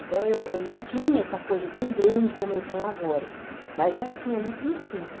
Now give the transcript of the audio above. Então, eu eu não tinha essa coisa tão grande como eu tenho agora, mas já tinha ali o princípio.